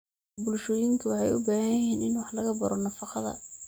Bulshooyinka waxay u baahan yihiin in wax laga baro nafaqada.